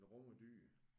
Men Rom er dyr